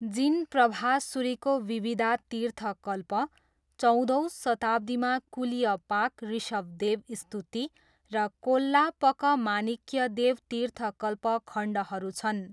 जिनप्रभासुरीको विविधा तीर्थ कल्प, चौधौँ शताब्दीमा कुल्यपाक ऋषभदेव स्तुति र कोल्लापकमानिक्यदेव तीर्थकल्प खण्डहरू छन्।